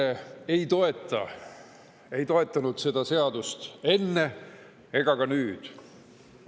EKRE ei toeta, ei toetanud seda seadust enne ega ka nüüd.